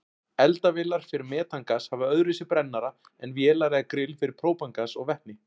Eldavélar fyrir metangas hafa öðruvísi brennara en vélar eða grill fyrir própangas og vetni.